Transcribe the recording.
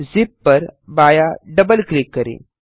zip पर बायाँ -double click करें